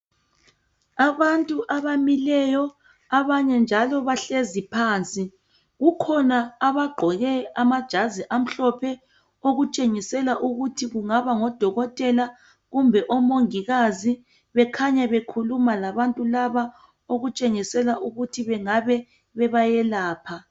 Abantu abamileyo abanye njalo bahlezi phansi kukhona abagqoke amajazi amhlophe okutshengisela ukuthi kungaba ngodokotela kumbe omongikazi bakhanya bekhuluma labantu laba okutshengisela ukuthi bengabe bebayelapha.